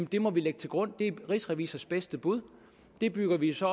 det må vi lægge til grund det er rigsrevisors bedste bud og det bygger vi så